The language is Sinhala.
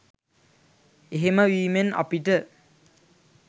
එහෙම වීමෙන් අපිට